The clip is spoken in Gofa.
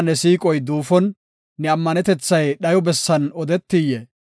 Merinaa ne siiqoy duufon, ne ammanetethay dhayo bessan odetiyee?